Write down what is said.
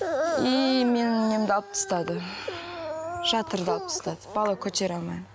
и мен немді алым тастады жатырды алып тастады бала көтере алмаймын